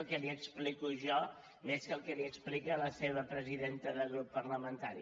el que li explico jo més que el que li explica la seva presidenta de grup parlamentari